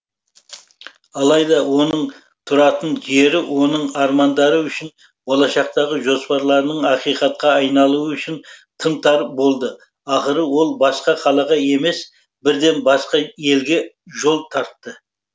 алайда оның тұратын жері оның армандары үшін болашақтағы жоспарларының ақиқатқа айналуы үшін тым тар болды ақыры ол басқа қалаға емес бірден басқа елге жол тартты